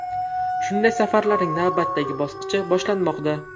Shunday safarlarning navbatdagi bosqichi boshlanmoqda.